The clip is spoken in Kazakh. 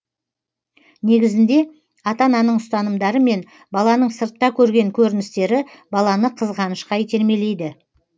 негізінде ата ананың ұстанымдары мен баланың сыртта көрген көріністері баланы қызғанышқа итермелейді